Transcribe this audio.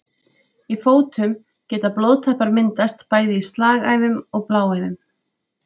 Í fótum geta blóðtappar myndast bæði í slagæðum og bláæðum.